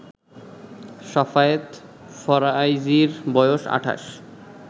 সাফায়েত ফারাইজির বয়স ২৮